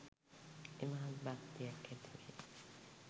ඉමහත් භක්තියක් ඇතිවේ